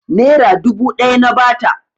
Nera dubu ɗaya na ba ta.